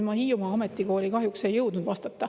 Nüüd ma Hiiumaa Ametikooli kohta kahjuks ei jõudnud vastata.